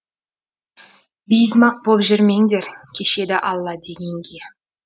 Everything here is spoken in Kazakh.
бейізмақ боп жүрмеңдер кешеді алла дегенге